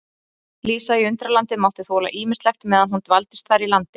Lísa í Undralandi mátti þola ýmislegt meðan hún dvaldist þar í landi.